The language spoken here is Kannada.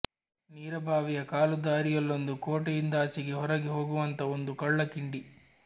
ನೀರ ಬಾವಿಯ ಕಾಲು ದಾರೀಲೊಂದು ಕೋಟೆಯಿಂದಾಚೆಗೆ ಹೊರಗೆ ಹೋಗುವಂಥ ಒಂದು ಕಳ್ಳ ಕಿಂಡಿ